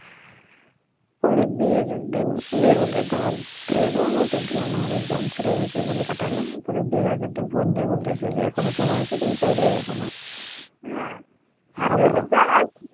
পরে বিয়ের দিন বিয়ের মধ্যে দাওয়াত দিলো আমি তো গেলামনা আমার এক্সাম ছিলো এই সেই বলে কাটাই লাম পরে বিয়ের আগের দিন ফোন দিয়ে বলতেছে যে এখনও সময় আছে তুমি চাইলে এখনও